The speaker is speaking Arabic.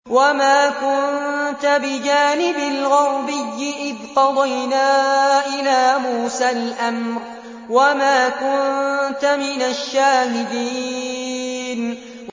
وَمَا كُنتَ بِجَانِبِ الْغَرْبِيِّ إِذْ قَضَيْنَا إِلَىٰ مُوسَى الْأَمْرَ وَمَا كُنتَ مِنَ الشَّاهِدِينَ